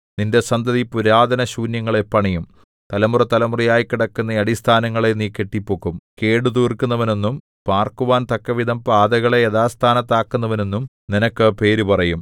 നിന്റെ സന്തതി പുരാതനശൂന്യങ്ങളെ പണിയും തലമുറതലമുറയായി കിടക്കുന്ന അടിസ്ഥാനങ്ങളെ നീ കെട്ടിപ്പൊക്കും കേടുതീർക്കുന്നവനെന്നും പാർക്കുവാൻ തക്കവിധം പാതകളെ യഥാസ്ഥാനത്താക്കുന്നവനെന്നും നിനക്ക് പേര് പറയും